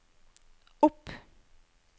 opp